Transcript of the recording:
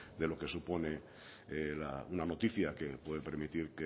de lo que supone una noticia que puede permitir